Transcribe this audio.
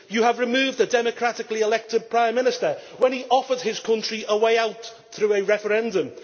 You have removed the democratically elected Prime Minister when he offered his country a way out through a referendum.